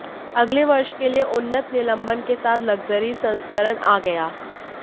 अगले वर्ष के लिए उन्नत निलंबन के साथ लक्जरी संस्करण आ गया